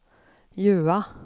Jøa